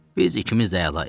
Biz ikimiz də əlayıq.